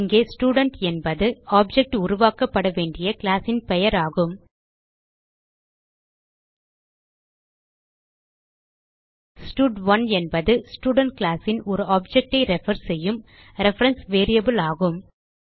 இங்கே ஸ்டூடென்ட் என்பது ஆப்ஜெக்ட் உருவாக்கப்பட வேண்டிய கிளாஸ் ன் பெயர் ஆகும் ஸ்டட்1 என்பது ஸ்டூடென்ட் கிளாஸ் ன் ஒரு ஆப்ஜெக்ட் ஐ ரெஃபர் செய்யும் ரெஃபரன்ஸ் வேரியபிள் ஆகும்